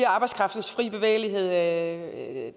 arbejdskraftens fri bevægelighed at